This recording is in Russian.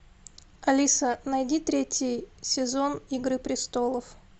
алиса найди третий сезон игры престолов